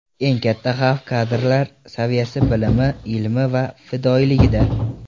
Eng katta xavf kadrlar saviyasi, bilimi, ilmi va fidoyiligida.